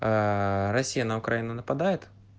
россия на украину нападает